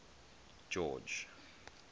george